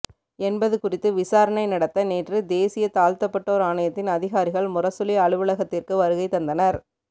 என்பது குறித்து விசாரணை நடத்த நேற்று தேசிய தாழ்த்தப்பட்டோர் ஆணையத்தின் அதிகாரிகள் முரசொலி அலுவலகத்திற்கு வருகை தந்தனர்